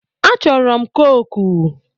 A chọrọ m kooku.